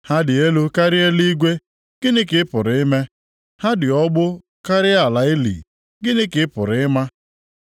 Ha dị elu karịa eluigwe, gịnị ka ị pụrụ ime? Ha dị ogbu karịa ala ili, gịnị ka ị pụrụ ịma?